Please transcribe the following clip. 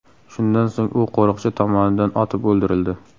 Shundan so‘ng u qo‘riqchi tomonidan otib o‘ldirildi.